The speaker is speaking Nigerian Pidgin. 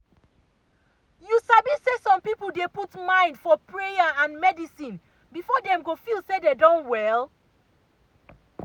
you sabi say some people dey put mind for prayer and medicine before dem go feel say dem don well.